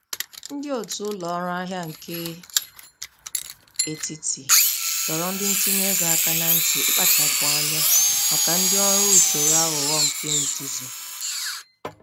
Ndị otu ụlọ ọrụ ahịa nke etiti doro ndị ntinye ego aka na nti ikpachapụ anya maka ndị ọrụ usoro aghụghọ nke nzuzu.